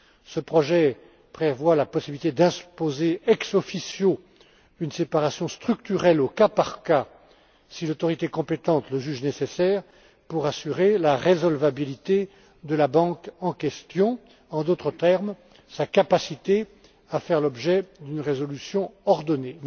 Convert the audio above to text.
Ce projet prévoit la possibilité d'imposer ex officio une séparation structurelle, au cas par cas, si l'autorité compétente le juge nécessaire pour assurer la résolvabilité de la banque en question, en d'autres termes, sa capacité à faire l'objet d'une résolution ordonnée.